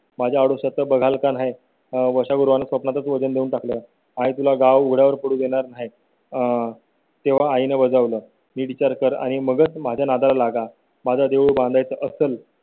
माझ्या आयुष्यात बघाल का नाही वळ ला स्वप्नात वजन देऊन टाकलं आहे तुला गावगाड्या वर पडू देणार नाही आह तेव्हा आई ना बजावलं मी विचार कर आणि मग माझ्या नादालागा. माझ्या देऊळ बांधाय चं असेल.